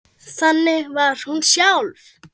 Þannig var hún sjálf.